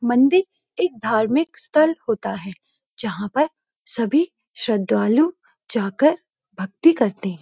मंदिर एक धार्मिक स्थल होता है जहां पर सभी श्रद्धालु जाकर भक्ति करते हैं।